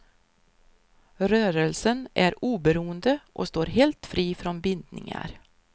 Rörelsen är oberoende och står helt fri från bindningar.